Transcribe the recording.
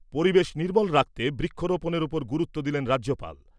পরিবেশ নির্মল রাখতে বৃক্ষরোপণের উপর গুরুত্ব দিলেন রাজ্যপাল